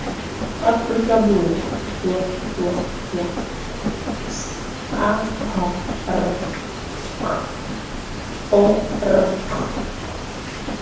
afrika borwa www sahrc org